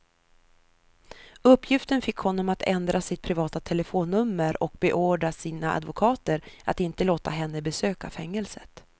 Uppgiften fick honom att ändra sitt privata telefonnummer och beordra sina advokater att inte låta henne besöka fängelset.